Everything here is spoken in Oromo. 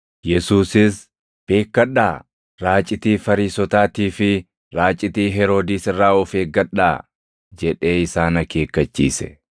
Yesuusis, “Beekkadhaa; raacitii Fariisotaatii fi raacitii Heroodis irraa of eeggadhaa” jedhee isaan akeekkachiise.